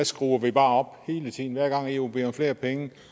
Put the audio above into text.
skruer vi bare op hele tiden hver gang eu beder om flere penge